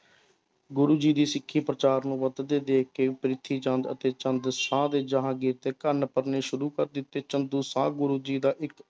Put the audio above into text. ਗੁਰੂ ਜੀ ਦੀ ਸਿੱਖੀ ਪ੍ਰਚਾਰ ਨੂੰ ਵੱਧਦੇ ਦੇਖ ਕੇ ਪ੍ਰਿਥੀ ਚੰਦ ਅਤੇ ਚੰਦ ਸ਼ਾਹ ਦੇ ਜਹਾਂਗੀਰ ਦੇ ਕੰਨ ਭਰਨੇ ਸ਼ੁਰੂ ਕਰ ਦਿੱਤੇ ਚੰਦੂ ਸ਼ਾਹ ਗੁਰੂ ਜੀ ਦਾ ਇੱਕ